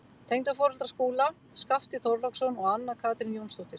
Tengdaforeldrar Skúla, Skafti Þorláksson og Anna Katrín Jónsdóttir.